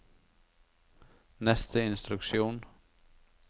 neste instruksjon